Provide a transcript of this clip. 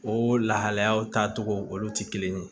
O lahalayaw taa cogo olu ti kelen ye